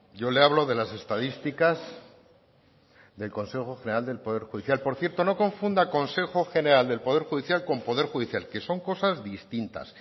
yo le hablo de las estadísticas del consejo general del poder judicial por cierto no confunda consejo general del poder judicial con poder judicial que son cosas distintas